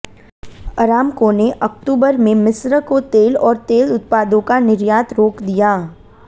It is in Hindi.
अरामको ने अक्तूबर में मिस्र को तेल और तेल उत्पादों का निर्यात रोक दिया था